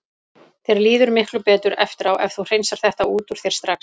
Þér líður miklu betur eftir á ef þú hreinsar þetta út úr þér strax.